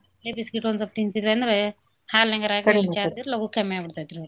Biscuit ಒಂದ್ಸೊಪ್ ತಿನ್ಸಿದ್ವ್ಯಂದ್ರ ಹಾಲ್ನಾಗರ ಲಗೂ ಕಮ್ಯಾಗ್ಬಿಡ್ತೇತ್ರಿ.